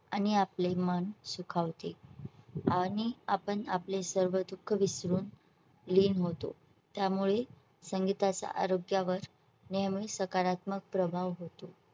आणि आपले मन सुखावते. आणि आपण आपले सर्व दुःख विसरून लीन होतो. त्यामुळे संगीताचा आरोग्या वर नेहमी सकारात्मक प्रभाव होतो.